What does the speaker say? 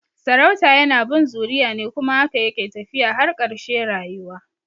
Sarauta yana bin zuriya ne kuma haka yake tafiya har karshe rayuwa